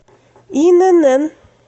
инн